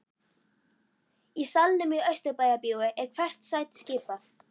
Í salnum í Austurbæjarbíói er hvert sæti skipað.